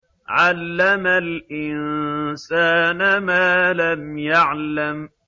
عَلَّمَ الْإِنسَانَ مَا لَمْ يَعْلَمْ